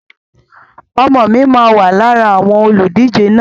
Ọmọ mi máà wá lára àwọn olùdíje náà